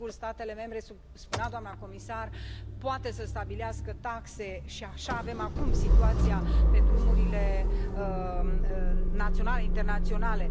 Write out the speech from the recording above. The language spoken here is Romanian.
Sigur, statele membre, spunea doamna comisar, pot să stabilească taxe și așa avem acum situația pe drumurile naționale, internaționale.